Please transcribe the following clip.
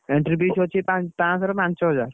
Entry fees ହଉଛି ପଞ୍ଚାଶହ ଋ ପାଞ୍ଚହଜାର।